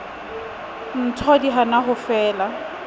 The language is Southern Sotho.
ntho di hana ho fela